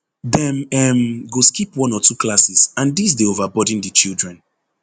dem um go skip one or two classes and dis dey over burden di children